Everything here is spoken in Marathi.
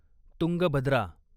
तुंगभद्रा